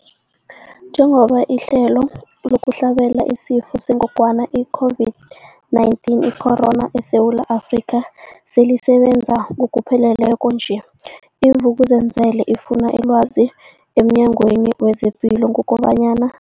Njengoba ihlelo lokuhlabela isiFo sengogwana i-Corona, i-COVID-19, eSewula Afrika selisebenza ngokupheleleko nje, i-Vuk'uzenzele ifune ilwazi emNyangweni wezePilo kobanyana.